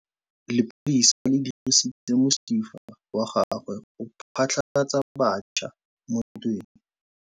Lepodisa le dirisitse mosifa wa gagwe go phatlalatsa batšha mo ntweng.